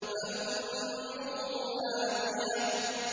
فَأُمُّهُ هَاوِيَةٌ